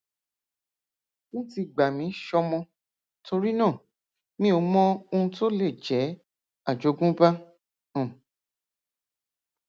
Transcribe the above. wọn ti gbà mí ṣọmọ torí náà mi ò mọ ohun tó lè jẹ àjogúnbá um